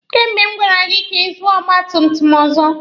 Kemgbe m gwara gị ka ị zụọ ọgba tum tum ọzọ!